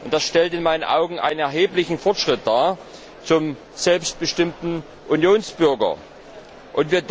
Das stellt in meinen Augen einen erheblichen Fortschritt zum selbstbestimmten Unionsbürger dar.